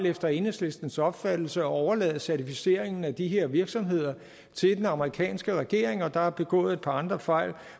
efter enhedslistens opfattelse at overlade certificeringen af de her virksomheder til den amerikanske regering og der er begået et par andre fejl